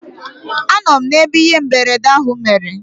Anọ m n'ebe ihe mberede ahụ mere.